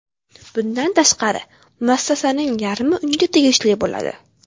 Bundan tashqari, muassasaning yarmi unga tegishli bo‘ladi.